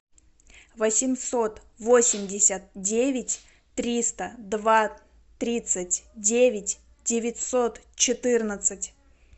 восемьсот восемьдесят девять триста два тридцать девять девятьсот четырнадцать